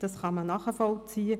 Man kann dies nachvollziehen.